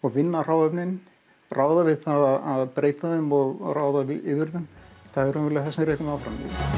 vinna hráefnin ráða við að breyta þeim og ráða yfir þeim er það sem rekur mig áfram